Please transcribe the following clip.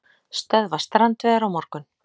Stöðva strandveiðar á morgun